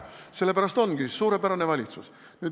Sellepärast ongi suurepärane valitsus.